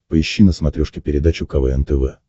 поищи на смотрешке передачу квн тв